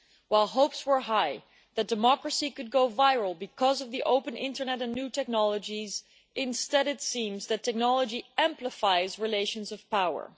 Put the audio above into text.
While hopes were high that democracy could go viral because of the open internet and new technologies, instead it seems that technology amplifies relations of power.